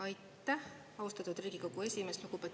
Aitäh, austatud Riigikogu esimees!